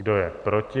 Kdo je proti?